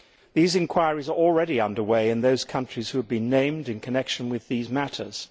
These inquiries are already under way in those countries that have been named in connection with these matters.